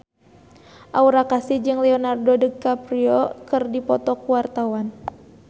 Aura Kasih jeung Leonardo DiCaprio keur dipoto ku wartawan